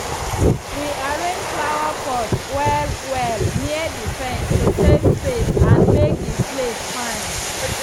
we arrange flowerpots well-well near the fence to save space and make the place fine.